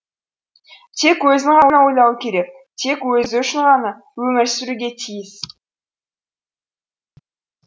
тек өзін ғана ойлауы керек тек өзі үшін ғана өмір сүруге тиіс